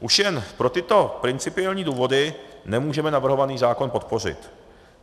Už jen pro tyto principiální důvody nemůžeme navrhovaný zákon podpořit.